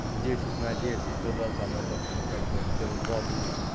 в десять на десять то да там этот ну как бы ц о два будет